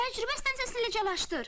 Təcrübə stansiyasını eləciləşdir.